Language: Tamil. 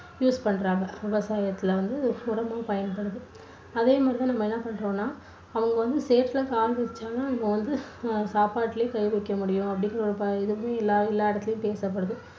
use பண்றாங்க விவசாயத்துல வந்து உரமா பயன்படுது அதேமாதிரி நம்ம என்ன பண்றோம்னா அவங்க வந்து சேத்துல கால் வச்சாதான் நம்ம வந்து அஹ் சாப்பாட்டுலையே கை வைக்க முடியும் அப்படின்னு ஒரு பழ~இது வந்து எல்லா எல்லா இடத்துலேயும் பேசப்படுது